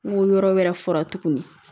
N ko yɔrɔ wɛrɛ fura tuguni